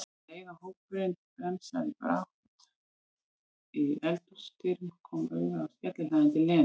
um leið og hópurinn bremsaði bratt í eldhúsdyrum, kom auga á skellihlæjandi Lenu.